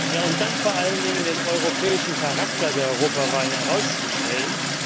Und dann wollen wir vor allen Dingen den europäischen Charakter der Europawahlen herausstellen.